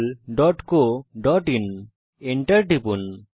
googlecoআইএন এবং enter টিপুন